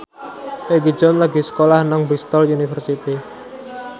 Egi John lagi sekolah nang Bristol university